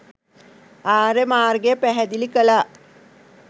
ආර්ය මාර්ගය පැහැදිලි කළා.